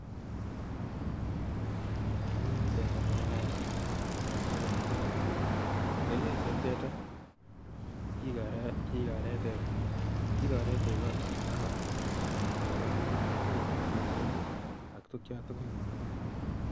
Akere teta neo nia ak akere kerichek ab teta. Kerichek chu eb teta kigore tuga, ngokaik, pusisiek ak tukyan tugul chon kiboe en kaa.